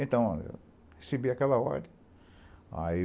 Então, eu recebi aquela ordem. Aí